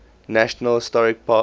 national historic landmark